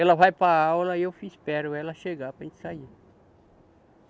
Ela vai para a aula e eu espero ela chegar para a gente sair.